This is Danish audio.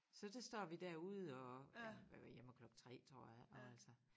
Så der står vi derude og ja vi var hjemme klokken 3 tror jeg og altså